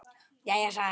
Já, sæl.